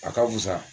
A ka fusa